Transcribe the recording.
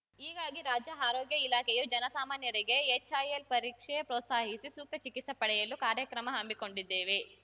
ಹೀಗಾಗಿ ರಾಜ್ಯ ಆರೋಗ್ಯ ಇಲಾಖೆಯೂ ಜನ ಸಾಮಾನ್ಯರಿಗೆ ಎಚ್‌ಐಎಲ್ ಪರೀಕ್ಷೆಗೆ ಪ್ರೋತ್ಸಾಹಿಸಿ ಸೂಕ್ತ ಚಿಕಿತ್ಸೆ ಪಡೆಯಲು ಕಾರ್ಯಕ್ರಮ ಹಮ್ಮಿಕೊಂಡಿದ್ದೇವೆ